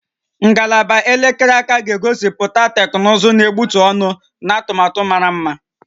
Ngalaba elekere aka ga-egosipụta teknụzụ na-egbutu ọnụ na atụmatụ mara mma